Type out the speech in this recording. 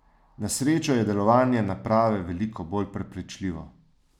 Na srečo je delovanje naprave veliko bolj prepričljivo.